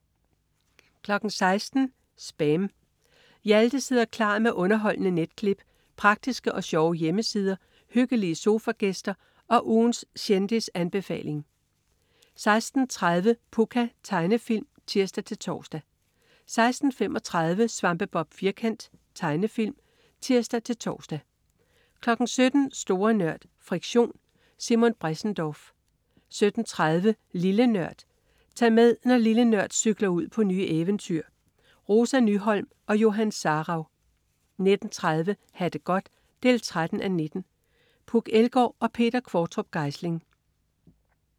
16.00 SPAM. Hjalte sidder klar med underholdende netklip, praktiske og sjove hjemmesider, hyggelige sofagæster og ugens kendisanbefaling 16.30 Pucca. Tegnefilm (tirs-tors) 16.35 Svampebob Firkant. Tegnefilm (tirs-tors) 17.00 Store Nørd. Friktion. Simon Bressendorf 17.30 Lille Nørd. Tag med, når "Lille Nørd" cykler ud på nye eventyr. Rosa Nyholm og Johan Sarauw 19.30 Ha' det godt 13:19. Puk Elgård og Peter Qvortrup Geisling